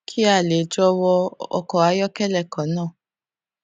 kí a lè jọ wọ ọkọ ayọkẹlẹ kan náà